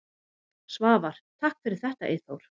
Svavar: Takk fyrir þetta Eyþór.